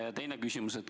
Ja teine küsimus.